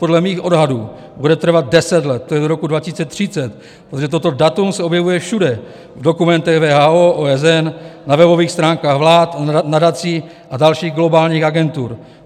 Podle mých odhadů bude trvat deset let, to je do roku 2030, protože toto datum se objevuje všude, v dokumentech WHO, OSN, na webových stránkách vlád, nadací a dalších globálních agentur.